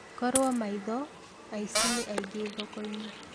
Korwo maitho aici nĩ ainge thoko-inĩ